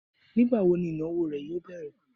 Nígbàwo ni ìnáwó rè yóò bẹ̀rẹ̀